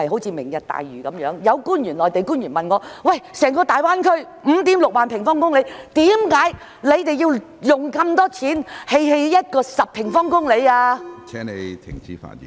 以"明日大嶼"為例，有內地官員曾問我，整個大灣區的面積是 56,000 平方公里，我們為何要花那麼多錢，興建面積只有約10平方公里的基建......